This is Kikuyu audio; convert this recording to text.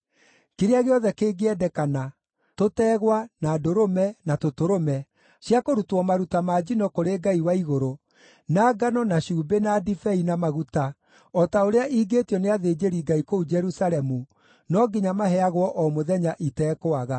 Kĩrĩa gĩothe kĩngĩendekana, tũtegwa, na ndũrũme, na tũtũrũme; cia kũrutwo maruta ma njino kũrĩ Ngai wa igũrũ, na ngano, na cumbĩ, na ndibei, na maguta, o ta ũrĩa ingĩĩtio nĩ athĩnjĩri-Ngai kũu Jerusalemu no nginya maheagwo o mũthenya itekwaga,